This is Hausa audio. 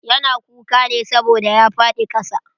Ya na kuka ne saboda ya faɗi ƙasa.